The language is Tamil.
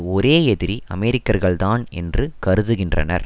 ஒரே எதிரி அமெரிக்கர்கள்தான் என்று கருதுகின்றனர்